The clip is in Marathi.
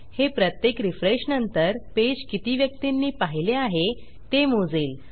हे प्रत्येक रिफ्रेशनंतर पेज किती व्यक्तींनी पाहिले आहे ते मोजेल